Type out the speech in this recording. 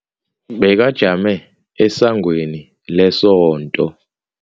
Bekajame esangweni lesonto.